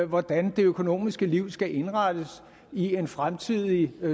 hvordan det økonomiske liv skal indrettes i en fremtidig